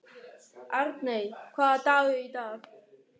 Arney, hvaða dagur er í dag?